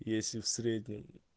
если в среднем